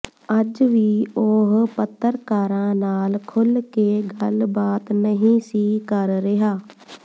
ਅੱਜ ਵੀ ਉਹ ਪੱਤਰਕਾਰਾਂ ਨਾਲ ਖੁੱਲ੍ਹ ਕੇ ਗੱਲਬਾਤ ਨਹੀਂ ਸੀ ਕਰ ਰਿਹਾ